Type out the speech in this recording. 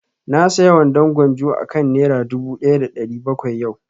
Na saya wandon gwanjo akan nera dubu ɗaya da ɗari bakwai yau